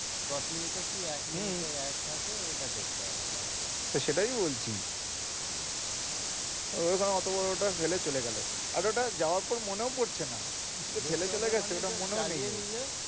দশ minute কি এক মিনিটের add থাকে ওইটা দেখতে হবে দশটা সেটাই বলছি ঐরকম অত বড়টা ফেলে চলে গেল আর ওটা যাওয়ার পর মনে পড়ছে না ওটা যে ফেলে চলে গেছে মনেও নেই,